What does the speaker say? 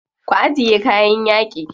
Ku ajiye kayan yaƙi.